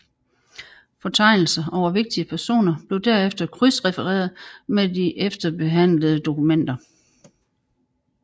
Fortegnelser over vigtige personer blev derefter krydsrefereret med de efterbehandlede dokumenter